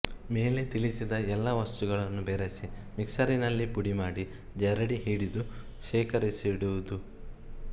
ಮೇಲೆ ತಿಳಿಸಿದ ಎಲ್ಲಾ ವಸ್ತುಗಳನ್ನು ಬೆರೆಸಿ ಮಿಕ್ಸರಿನಲ್ಲಿ ಪುಡಿಮಾಡಿ ಜರಡಿ ಹಿಡಿದು ಶೇಖರಿಸಿಡುವುಡು